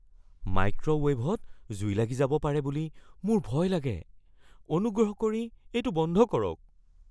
মাইক্ৰ'ৱেভত জুই লাগি যাব পাৰে বুলি মোৰ ভয় লাগে। অনুগ্ৰহ কৰি এইটো বন্ধ কৰক।